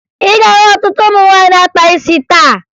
Ị ga-ahụ ọtụtụ ụmụ nwaanyị na-akpa isi taa